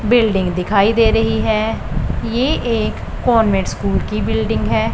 Building दिखाई दे रही है ये एक कॉन्वेंट स्कूल की बिल्डिंग है।